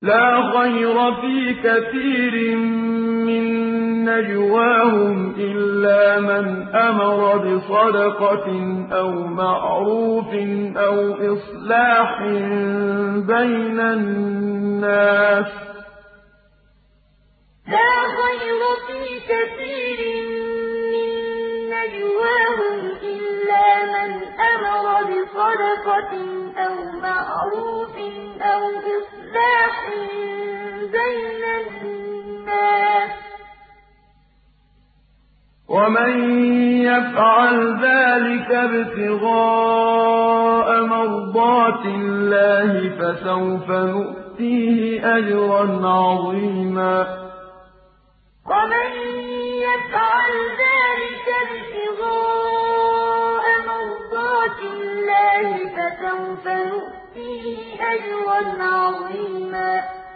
۞ لَّا خَيْرَ فِي كَثِيرٍ مِّن نَّجْوَاهُمْ إِلَّا مَنْ أَمَرَ بِصَدَقَةٍ أَوْ مَعْرُوفٍ أَوْ إِصْلَاحٍ بَيْنَ النَّاسِ ۚ وَمَن يَفْعَلْ ذَٰلِكَ ابْتِغَاءَ مَرْضَاتِ اللَّهِ فَسَوْفَ نُؤْتِيهِ أَجْرًا عَظِيمًا ۞ لَّا خَيْرَ فِي كَثِيرٍ مِّن نَّجْوَاهُمْ إِلَّا مَنْ أَمَرَ بِصَدَقَةٍ أَوْ مَعْرُوفٍ أَوْ إِصْلَاحٍ بَيْنَ النَّاسِ ۚ وَمَن يَفْعَلْ ذَٰلِكَ ابْتِغَاءَ مَرْضَاتِ اللَّهِ فَسَوْفَ نُؤْتِيهِ أَجْرًا عَظِيمًا